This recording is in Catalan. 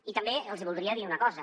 i també els hi voldria dir una cosa